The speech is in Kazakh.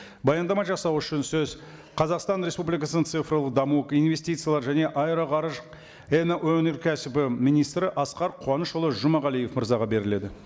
баяндама жасау үшін сөз қазақстан республикасының цифрлық даму инвестициялар және аэроғарыш өнеркәсібі министрі асқар қуанышұлы жұмағалиев мырзаға беріледі